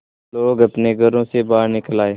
लोग अपने घरों से बाहर निकल आए